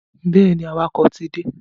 Bẹ́ẹ̀ni, awakọ̀ ti débí.